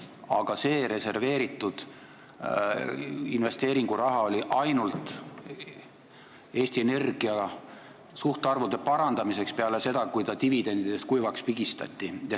Aga see reserveeritud investeeringuraha oli mõeldud ainult Eesti Energia suhtarvude parandamiseks peale seda, kui ta oli dividendidest kuivaks pigistatud.